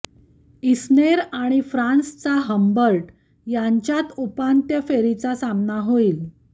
Isner आणि फ्रान्सचा Humbert यांच्यात उपांत्य फेरीचा सामना होईल